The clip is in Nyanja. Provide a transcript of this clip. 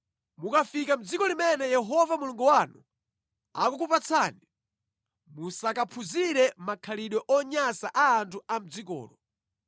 Mukafika mʼdziko limene Yehova Mulungu wanu akukupatsani, musakaphunzire makhalidwe onyansa a anthu a mʼdzikolo.